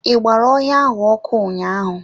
I gbara ọhịa ahụ ọkụ ụnyaahụ.